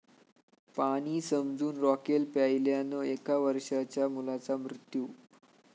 पाणी समजून रॉकेल प्यायल्यानं एका वर्षांच्या मुलाचा मृत्यू